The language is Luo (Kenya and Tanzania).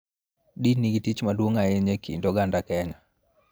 Din nigi tich maduong� ahinya e kind oganda Kenya.